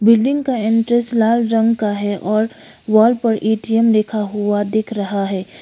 Building का entrance लाल रंग का है और वॉल पर ए_टी_एम लिखा हुआ दिख रहा है।